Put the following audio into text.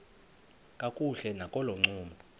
kakuhle nakolo ncumo